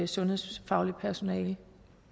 sundhedsfagligt personale